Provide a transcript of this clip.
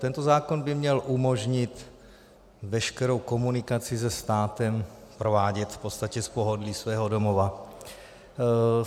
Tento zákon by měl umožnit veškerou komunikaci se státem provádět v podstatě z pohodlí svého domova.